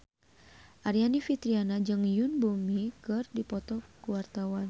Aryani Fitriana jeung Yoon Bomi keur dipoto ku wartawan